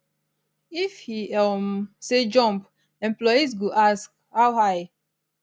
if e um say jump employees go ask how high